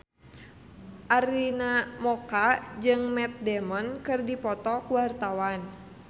Arina Mocca jeung Matt Damon keur dipoto ku wartawan